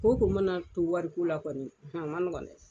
Ko o ko mana to wari la kɔni o ma nɔgɔ dɛ.